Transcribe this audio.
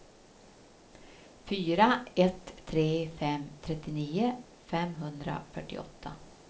fyra ett tre fem trettionio femhundrafyrtioåtta